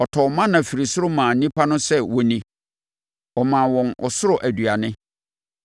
Ɔtɔɔ mana firi soro maa nnipa no sɛ wonni, ɔmaa wɔn ɔsoro aduane.